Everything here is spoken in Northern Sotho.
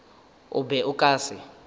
o be o ka se